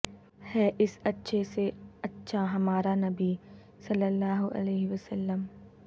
ہے اس اچھے سے اچھا ہمارا نبی صلی اللہ علیہ وسلم